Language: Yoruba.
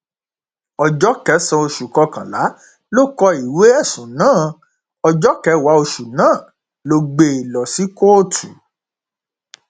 ọjọ kẹsànán oṣù kọkànlá ló kó ìwé ẹsùn náà ọjọ kẹwàá oṣù náà ló gbé e lọ sí kóòtù